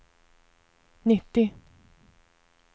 nittio